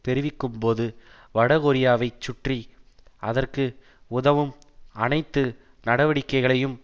தெரிவிக்கும் போது வடகொரியாவைச் சுற்றி அதற்கு உதவும் அனைத்து நடவடிக்கைகளையும்